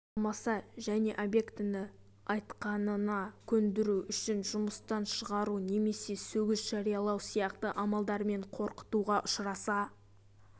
алмаса және объектіні айтқанына көндіру үшін жұмыстан шығару немесе сөгіс жариялау сияқты амалдармен қорқытуға ұшыраса